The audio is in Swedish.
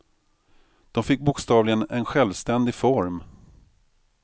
De fick bokstavligen en självständig form.